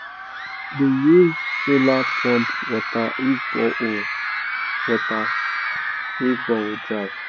de use solar pump water if borehole water if borehole dry